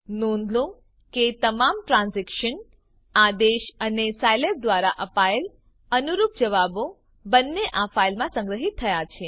નોંધ લો કે તમામ ટ્રાન્ઝેક્શન્સ આદેશો અને સાયલેબ દ્વારા અપાયેલ અનુરૂપ જવાબો બંને આ ફાઈલમાં સંગ્રહિત થયા છે